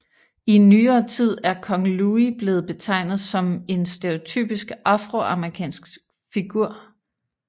I nyere tid er Kong Louie blevet betegnet som en stereotypisk afroamerikansk figur